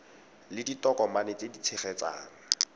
le ditokomane tse di tshegetsang